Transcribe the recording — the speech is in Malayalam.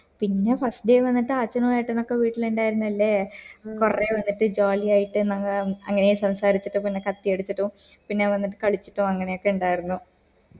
പിന്നെ first day വന്നിട്ട് അച്ഛനു ഏട്ടനൊക്കെ വീട്ടില് ഉണ്ടായിരുന്നില്ലേ കൊറേ വന്നിട്ട് jolly ആയിട്ട് ഞങ്ങ അങ്ങനെ സംസാരിച്ചിട്ടു പിന്നെ കത്തി അടിച്ചിട്ടു പിന്നെ വന്നിട്ട് കളിച്ചിട്ടു അങ്ങനൊക്കെ ഇണ്ടായിരുന്നു